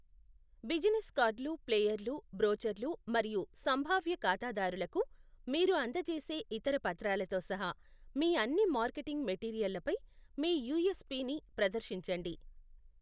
Business కార్డ్లు, ఫ్లైయర్లు, బ్రోచర్లు మరియు సంభావ్య ఖాతాదారులకు మీరు అందజేసే ఇతర పత్రాలతో సహా మీ అన్ని మార్కెటింగ్ మెటీరియల్లపై మీ యూఎస్పిని ప్రదర్శించండి.